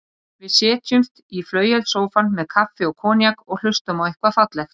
Fannst þér ekki líka að þau væru oft eitthvað að kýta?